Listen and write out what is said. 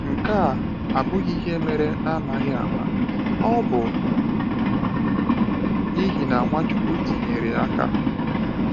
Nke a abụghị ihe mere n’amaghị ama; ọ bụ n’ihi na Nwachukwu tinyere aka.